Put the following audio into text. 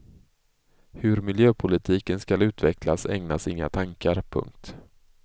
Hur miljöpolitiken skall utvecklas ägnas inga tankar. punkt